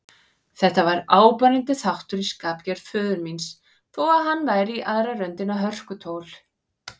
Þetta var áberandi þáttur í skapgerð föður míns, þó hann væri í aðra röndina hörkutól.